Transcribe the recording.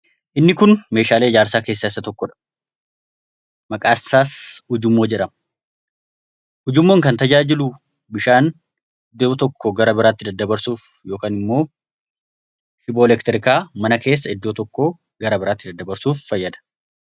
Inni kun meeshaalee ijaarsaa keessaa isa tokkodha. Maqaan isaas ujummoo jedhama. Ujummoon kan tajaajilu, bishaan iddoo tokko gara biraatti daddabarsuuf ykn immoo shiboo elektirikaa mana keessa iddoo tokko gara biraatti daddabarsuuf fayyada.